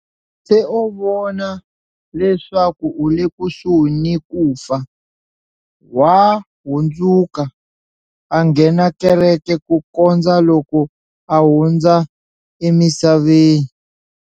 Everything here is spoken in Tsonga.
Se a vona leswaku u le kusuhi ni ku fa, wa hundzuka, a nghena kereke ku kondza loko a hundza emisaveni.